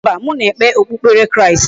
Mba, m na-ekpe okpukpere Kristi.